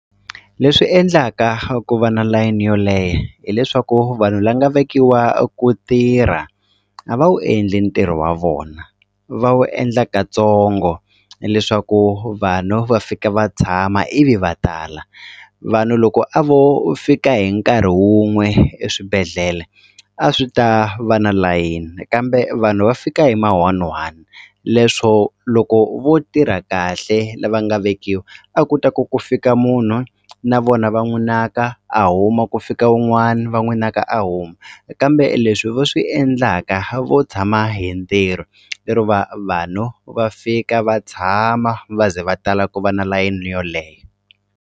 Leswi endlaka ku va na layini yo leha hileswaku vanhu va nga vekiwa ku tirha a va wu endli ntirho wa vona va wu endla kantsongo leswaku vanhu va fika va tshama ivi va tala vanhu loko a vo fika hi nkarhi wun'we eswibedhlele a swi ta va na layini kambe vanhu va fika hi ma one one leswo loko vo tirha kahle lava nga vekiwa a ku ta ku ku fika munhu na vona va n'wi naka a huma ku fika wun'wani va n'wi naka a huma kambe leswi va swi endlaka vo tshama hi ntirho lero vanhu va fika va tshama va ze va tala ku va na layini yo .